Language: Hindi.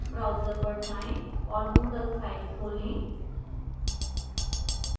browser पर जाएँ और moodle site खोलें